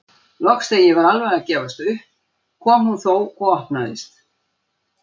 Loks þegar ég var alveg að gefast upp kom hún þó og opnaðist.